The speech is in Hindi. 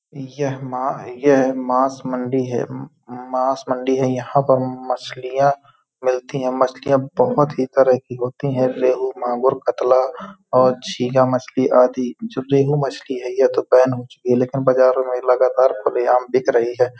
यह मा यह माँस मंडी है। माँस मंडी है। यहाँ पर मछलियाँ मिलती हैं। मछलियाँ बहुत तरीके की होती हैं रेहू मागोर कतला और चिहा मछली आदि। जो रेहू मछली है यह तो बैन हो चुकी है लेकिन बाजारों में लगातार खुले आम बिक रही है।